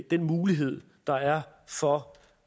den mulighed der er for